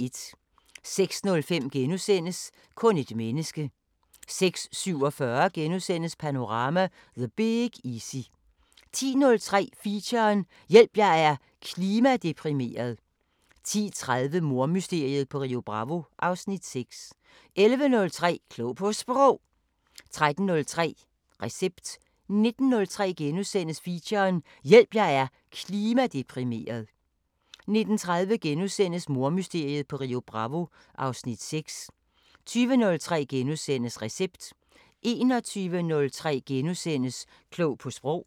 06:05: Kun et menneske * 06:47: Panorama: The Big Easy * 10:03: Feature: Hjælp jeg er klimadeprimeret 10:30: Mordmysteriet på Rio Bravo (Afs. 6) 11:03: Klog på Sprog 13:03: Recept 19:03: Feature: Hjælp jeg er klimadeprimeret * 19:30: Mordmysteriet på Rio Bravo (Afs. 6)* 20:03: Recept * 21:03: Klog på Sprog *